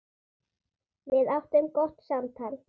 Við áttum gott samtal.